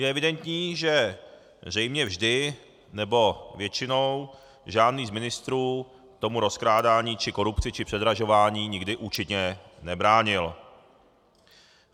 Je evidentní, že zřejmě vždy, nebo většinou, žádný z ministrů tomu rozkrádání či korupci či předražování nikdy účinně nebránil.